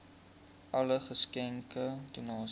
alle geskenke donasies